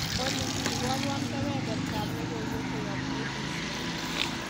olly iborwon kebebertab logoiwek koyob k.b.c